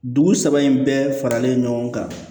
Dugu saba in bɛɛ faralen ɲɔgɔn kan